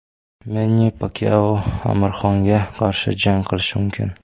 Menni Pakyao Amir Xonga qarshi jang qilishi mumkin.